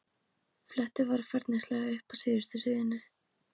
Fletti varfærnislega upp að síðustu síðunni.